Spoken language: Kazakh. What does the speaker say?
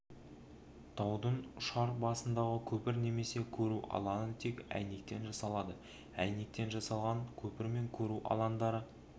таудың ұшар басындағы көпір немесе көру алаңы тек әйнектен жасалады әйнектен жасалған көпір мен көру алаңдары